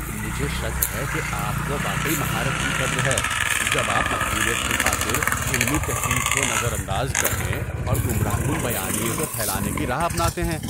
مجھے شک ہے کہ آپ کو واقعی مہارت کی قدر ہے جب آپ مقبولیت کی خاطر علمی تحقیق کو نظر انداز کرنے اور گمراہ کن بیانیے کو پھیلانے کی راہ اپناتے ہیں۔